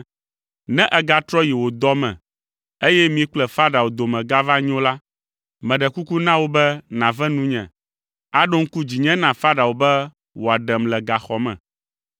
Ne ègatrɔ yi wò dɔ me, eye mi kple Farao dome gava nyo la, meɖe kuku na wò be nàve nunye, aɖo ŋku dzinye na Farao be wòaɖem le gaxɔ me,